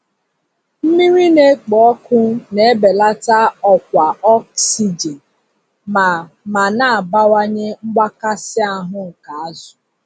Mmiri na-ekpo ọkụ na-ebelata ọkwa ọksijin ma ma na-abawanye mgbakasị ahu nke azụ.